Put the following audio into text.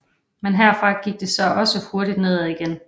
Men herfra gik det så også hurtigt nedad igen